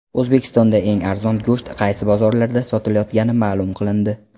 O‘zbekistonda eng arzon go‘sht qaysi bozorlarda sotilayotgani ma’lum qilindi.